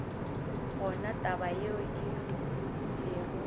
gona taba yeo e be